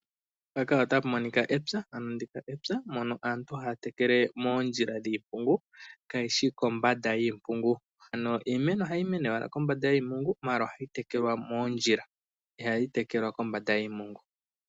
Mpaka otapumonika epya , ano ndika epya mono aantu haya tekele moondjila dhiimpungu kayishi kombanda yiimpungu, ano iimeno ohayimene owala kombanda yiimpungu maala ohayi tekelwa moondjila ihayi tekelwa kombanda yiimpungu.